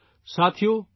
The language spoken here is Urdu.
ساتھیو ،